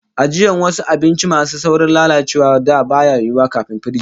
Ajiyan wasu abinci masu saurin lalacewa a da baya yiwo, kafin firiji